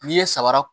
N'i ye sabara